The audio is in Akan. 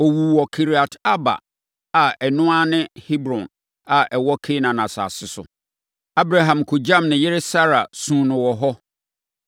Ɔwuu wɔ Kiriat-Arba a ɛno ara ne Hebron a ɛwɔ Kanaan asase so. Abraham kɔgyam ne yere Sara, suu no wɔ hɔ.